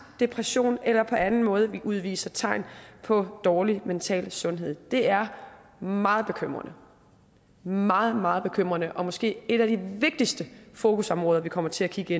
depression eller på anden måde udviser tegn på dårlig mental sundhed det er meget bekymrende meget meget bekymrende og måske et af de vigtigste fokusområder vi kommer til at kigge